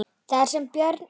Þar sem Björn í